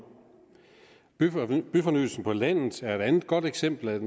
byfornyelsen på landet er et andet godt eksempel